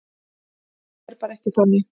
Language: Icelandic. Það er bara ekki þannig.